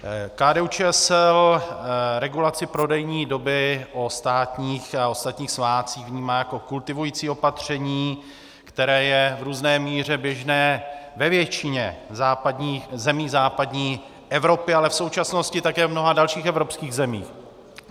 KDU-ČSL regulaci prodejní doby o státních a ostatních svátcích vnímá jako kultivující opatření, které je v různé míře běžné ve většině zemí západní Evropy, ale v současnosti také v mnoha dalších evropských zemích.